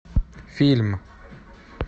фильм